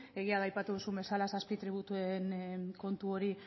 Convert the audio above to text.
egia da aipatu duzun bezala zazpi tributuen kontu hori